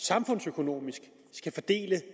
samfundsøkonomisk skal fordele